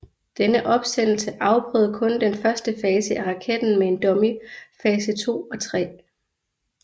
Denne opsendelse afprøvede kun den første fase af raketen med en dummy fase 2 og 3